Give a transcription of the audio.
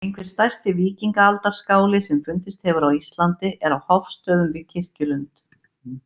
Einhver stærsti víkingaaldarskáli sem fundist hefur á Íslandi er á Hofsstöðum við Kirkjulund.